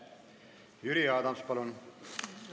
Jüri Adams, palun!